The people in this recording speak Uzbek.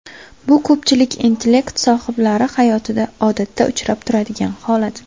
Bu ko‘pchilik intellekt sohiblari hayotida odatda uchrab turadigan holat.